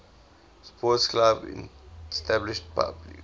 sports clubs established